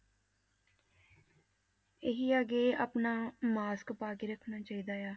ਇਹੀ ਆ ਕਿ ਆਪਣਾ mask ਪਾ ਕੇ ਰੱਖਣਾ ਚਾਹੀਦਾ ਆ।